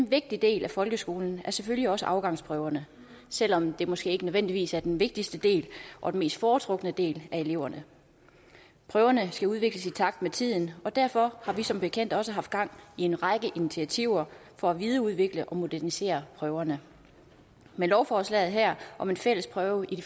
vigtig del af folkeskolen er selvfølgelig også afgangsprøverne selv om det måske ikke nødvendigvis er den vigtigste del og den mest foretrukne del af eleverne prøverne skal udvikles i takt med tiden og derfor har vi som bekendt også haft gang i en række initiativer for at videreudvikle og modernisere prøverne med lovforslaget her om en fælles prøve i